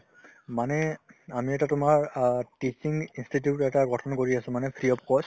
মানে আমি এটা তোমাৰ অ tuition institute এটা গঠন কৰি আছো মানে free of cost